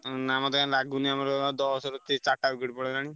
ନାଁ ମତେ କାଇଁ ଲାଗୁନି ଆମର ଦଶରେ ଚାରି ଟା wicket ପଳେଇଲାଣି।